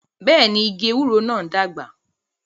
Bẹẹni, igi ewúro náà ń dàgbà